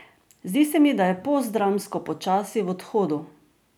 Zdi se mi, da je postdramsko počasi v odhodu.